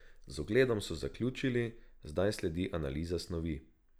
Z ogledom so zaključili, zdaj sledi analiza snovi.